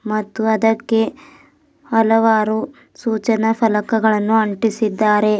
ಮತ್ತು ಅದಕ್ಕೆ ಹಲವಾರು ಸೂಚನ ಫಲಕಗಳನ್ನು ಅಂಟಿಸಿದ್ದಾರೆ.